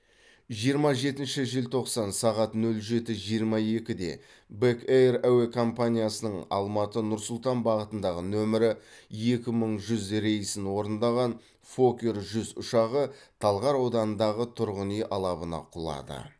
жиырма жетінші желтоқсан сағат нөл жеті жиырма екіде бек эйр әуе компаниясының алматы нұр сұлтан бағытындағы нөмірі екі мың жүз рейсін орындаған фокер жүз ұшағы талғар ауданындағы тұрғын үй алабына құлады